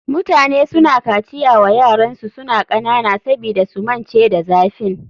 Mutane suna kaciya wa yaransu suna kanana sabida su mance da zafin.